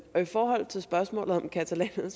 forhold til spørgsmålet om catalanerne